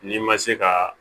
N'i ma se ka